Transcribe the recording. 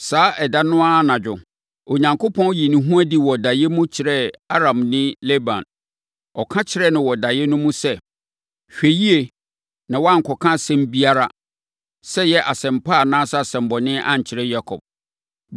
Saa ɛda no ara anadwo, Onyankopɔn yii ne ho adi wɔ daeɛ mu kyerɛɛ Aramni Laban. Ɔka kyerɛɛ no wɔ daeɛ no mu sɛ, “Hwɛ yie na woankɔka asɛm biara, sɛ ɛyɛ asɛm pa anaa asɛmmɔne ankyerɛ Yakob.”